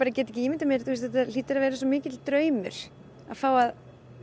get ekki ímyndað mér þetta hlýtur að vera svo mikill draumur að fá að